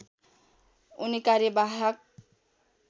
उनी कार्यवाहक